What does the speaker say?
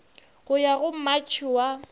go ya go matšhe wa